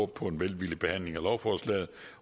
på en velvillig behandling af lovforslaget